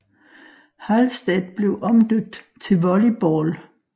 Halstead blev omdøbt til Volley Ball